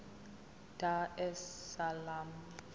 dar es salaam